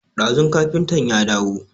Ɗazun kafintan ya dawo